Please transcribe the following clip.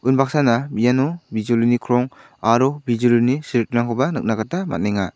unbaksana iano bijolini krong aro bijolini seritingrangkoba nikna gita man·enga.